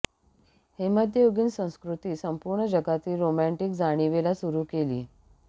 हे मध्ययुगीन संस्कृती संपूर्ण जगातील रोमँटिक जाणिवेला सुरू केली